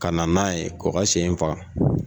Ka na n'a ye , u ka sɛ in faga.